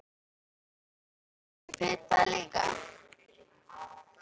Já, gjörðu svo vel. Viltu pipar líka?